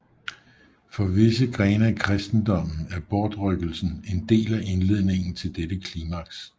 For visse grene af kristendommen er bortrykkelsen en del af indledningen til dette klimaks